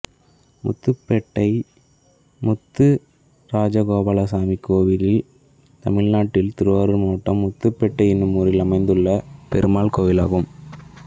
முத்துபேட்டை முத்துராஜகோபாலசாமி கோயில் தமிழ்நாட்டில் திருவாரூர் மாவட்டம் முத்துபேட்டை என்னும் ஊரில் அமைந்துள்ள பெருமாள் கோயிலாகும்